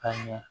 Ka ɲɛ